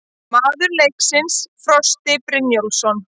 Maður leiksins: Frosti Brynjólfsson